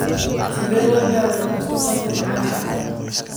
Sidee loo daweeyaa mastopathy macaanka?